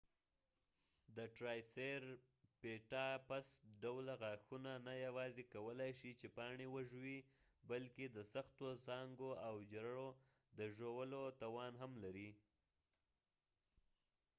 د ټرایسیریپټاپس ډوله غاښونه نه یواځی کولای شي چې پاڼی وژوي بلکه د سختو ځانګو او جرړو د ژولو توان هم لري